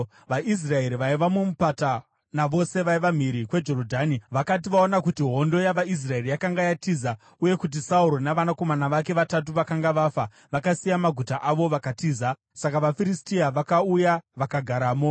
VaIsraeri vaiva mumupata navose vaiva mhiri kweJorodhani vakati vaona kuti hondo yavaIsraeri yakanga yatiza, uye kuti Sauro navanakomana vake vatatu vakanga vafa, vakasiya maguta avo vakatiza. Saka vaFiristia vakauya vakagaramo.